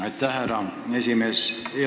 Aitäh, härra esimees!